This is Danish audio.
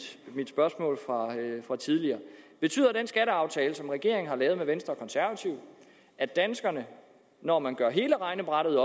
spørgsmål fra tidligere betyder den skatteaftale som regeringen har lavet med venstre og konservative at danskerne når man gør hele regnebrættet